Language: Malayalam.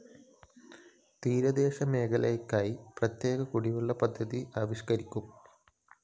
തീരദേശ മേഖലക്കായി പ്രതേ്യക കുടിവെള്ള പദ്ധതി ആവിഷ്‌കരിക്കും